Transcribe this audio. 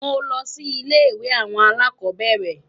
Mo lọ sí ilé-ìwé alákọ̀ọ́bẹ̀rẹ̀.